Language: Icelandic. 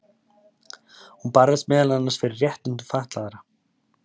hún barðist meðal annars fyrir réttindum fatlaðra